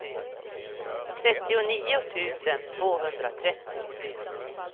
trettionio tusen tvåhundratrettio